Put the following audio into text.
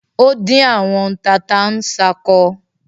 Ó dín àwọn tata-n-sánkọ